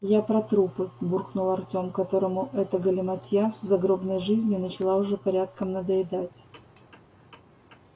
я про трупы буркнул артем которому эта галиматья с загробной жизнью начала уже порядком надоедать